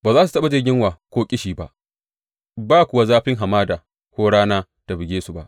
Ba za su taɓa jin yunwa ko ƙishi ba, ba kuwa zafin hamada ko rana ta buge su ba.